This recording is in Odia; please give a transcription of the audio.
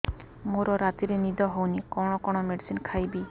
ମୋର ରାତିରେ ନିଦ ହଉନି କଣ କଣ ମେଡିସିନ ଖାଇବି